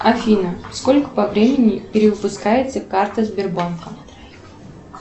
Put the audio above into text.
афина сколько по времени перевыпускается карта сбербанка